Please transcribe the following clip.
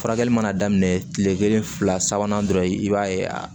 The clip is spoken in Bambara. Furakɛli mana daminɛ kile kelen fila sabanan dɔrɔn i b'a ye a